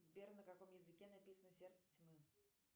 сбер на каком языке написано сердце тьмы